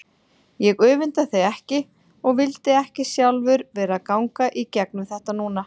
Ég öfunda þig ekki og vildi ekki sjálfur vera að ganga í gegnum þetta núna.